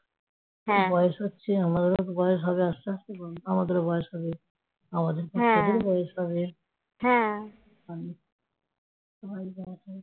বয়স হচ্ছে আস্তে আস্তে আমাদেরও বয়স হবে তোদেরও বয়স হবে